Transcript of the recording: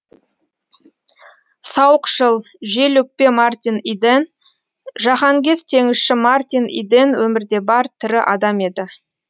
сауықшыл жел өкпе мартин иден жаһангез теңізші мартин иден өмірде бар тірі адам еді